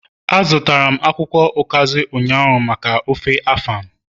A zụtara akwukwo ukazi ụnyaahụ maka ofe afan